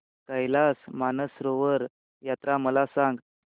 कैलास मानसरोवर यात्रा मला सांग